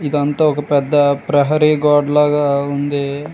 ఇదంతా ఒక పెద్ద ప్రహరీ గోడ లాగా ఉంది.